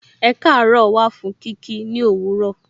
Ekaaro wà fún kí kí ni òwúrọ̀.